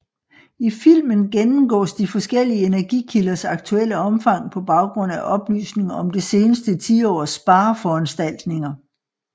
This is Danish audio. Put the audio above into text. I filmen gennemgås de forskellige energikilders aktuelle omfang på baggrund af oplysninger om det seneste tiårs spareforanstaltninger